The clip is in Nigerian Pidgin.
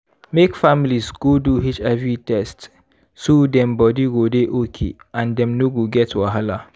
make families go do hiv test so dem body go dey okay and dem no go get wahala.